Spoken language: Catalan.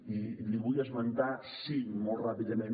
i n’hi vull esmentar cinc molt ràpidament